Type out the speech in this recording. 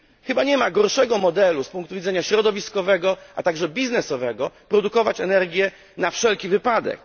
Chyba nie ma gorszego modelu z punktu widzenia środowiskowego, a także biznesowego, niż produkować energię na wszelki wypadek.